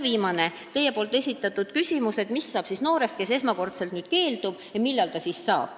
Viimane teie esitatud küsimus oli, mis saab noorest, kes praegu abist keeldub, et millal ta siis abi saab.